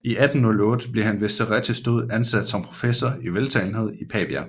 I 1808 blev han ved Cerrettis død ansat som professor i veltalenhed i Pavia